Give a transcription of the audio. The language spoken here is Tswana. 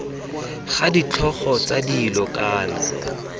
ga ditlhogo tsa dilo kana